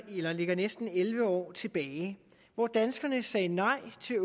ligger næsten elleve år tilbage hvor danskerne sagde nej til